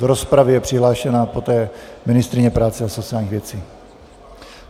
Do rozpravy je přihlášena poté ministryně práce a sociálních věcí.